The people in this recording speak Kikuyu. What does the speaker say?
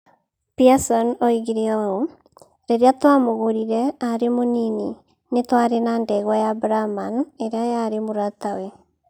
Pearson oigire ũũ: "Rĩrĩa twamũgũrire arĩ mũnini, nĩ twaarĩ na ndegwa ya Brahman ĩrĩa yarĩ mũratawe.